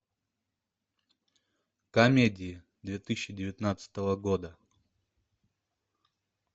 комедии две тысячи девятнадцатого года